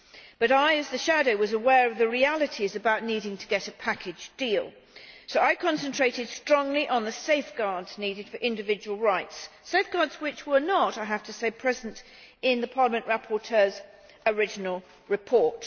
But I, as the shadow, was aware of the realities about needing to get a package deal, so I concentrated strongly on the safeguards needed for individual rights safeguards which were not, I have to say, present in the Parliament rapporteur's original report.